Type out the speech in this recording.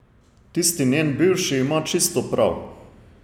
Tisti njen bivši ima čisto prav.